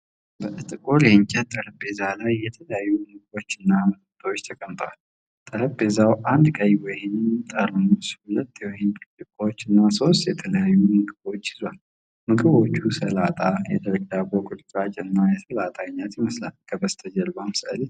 በጥቁር የእንጨት ጠረጴዛ ላይ የተለያዩ ምግቦችና መጠጦች ተቀምጠዋል። ጠረጴዛው አንድ ቀይ ወይን ጠርሙስ፣ ሁለት የወይን ብርጭቆዎች እና ሦስት የተለያዩ ምግቦችን ይዟል። ምግቦቹ ሰላጣ፣ የደረቅ ዳቦ ቁርጥራጮች እና የሰላጣ አይነት ይመስላል፤ ከበስተጀርባም ሥዕል ይታያል።